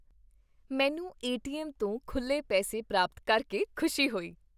ਮੈਨੂੰ ਏ.ਟੀ.ਐੱਮ. ਤੋਂ ਖੁੱਲੇ ਪੈਸੇ ਪ੍ਰਾਪਤ ਕਰਕੇ ਖੁਸ਼ੀ ਹੋਈ।